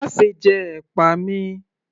Máṣe jẹ ẹ̀pà mi!